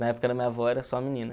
Na época da minha avó era só menina.